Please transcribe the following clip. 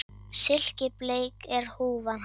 Silkibleik er húfan hans